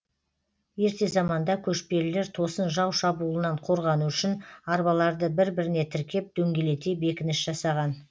ерте заманда көшпелілер тосын жау шабуылынан қорғану үшін арбаларды бір біріне тіркеп дөңгелете бекініс жасаған